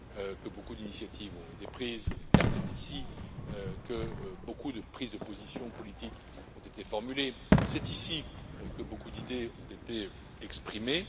ici que beaucoup d'initiatives ont été prises, c'est ici que beaucoup de prises de position politique ont été formulées, c'est ici que beaucoup d'idées ont été exprimées.